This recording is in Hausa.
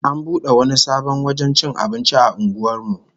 An bude wani sabon wajen cin abinci a unguwar mu